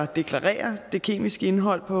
deklarere det kemiske indhold på